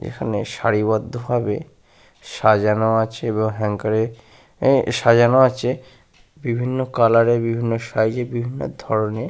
এখানে সারিবদ্ধ ভাবে সাজানো আছে এবং হ্যাঙ্গার এ সাজানো আছে বিভিন্ন কালার এর বিভিন্ন সাইজের বিভিন্ন ধরনের।